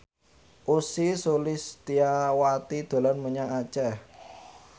Ussy Sulistyawati dolan menyang Aceh